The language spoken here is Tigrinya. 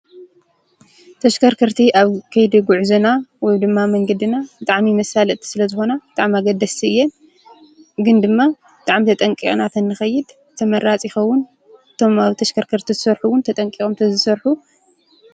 ተሽከርከርቲ ኣብ ከይዲ ጉዕዞና ወይ ድማ መንገዲና ብጣዕሚ መሳለጢ ስለዝኮና ብጣዕሚ ኣገደስቲ እየን። ግን ድማ ብጣዕሚ ተጠንቂቅና ተንከይድ ተመራፂ ይከዉን። እቶም ኣብ ተሽከርከርቲ ዝሰርሑ እዉን ተጠንቂቆም ተዝሰርሑ።